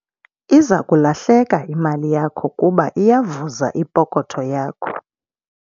Iza kulahleka imali yakho kuba iyavuza ipokotho yakho.